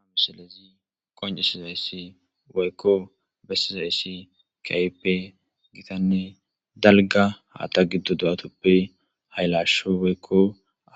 Haysi misilezi qoncisizaysi woyko besizaysi kehipe gitane dalga haatha do'a gidoppe haylasho woyko